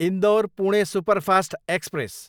Indore, Pune superfast express